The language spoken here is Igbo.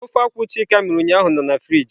Nke akwu chika mere ụnyahụ nọ na frịjị.